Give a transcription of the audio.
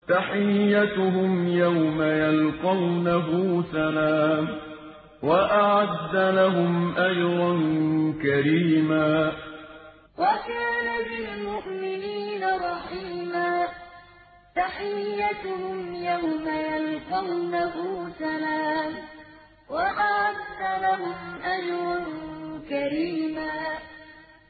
تَحِيَّتُهُمْ يَوْمَ يَلْقَوْنَهُ سَلَامٌ ۚ وَأَعَدَّ لَهُمْ أَجْرًا كَرِيمًا تَحِيَّتُهُمْ يَوْمَ يَلْقَوْنَهُ سَلَامٌ ۚ وَأَعَدَّ لَهُمْ أَجْرًا كَرِيمًا